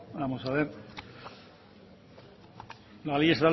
la ley estatal